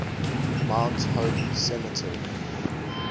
mount hope cemetery